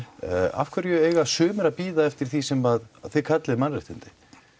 af hverju eiga sumir að bíða eftir því sem þið kallið mannréttindi